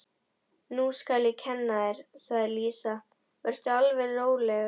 Nú skal ég kenna þér, sagði Lísa, vertu alveg rólegur.